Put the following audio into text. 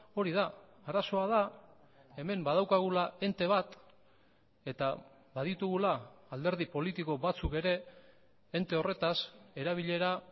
hori da arazoa da hemen badaukagula ente bat eta baditugula alderdi politiko batzuk ere ente horretaz erabilera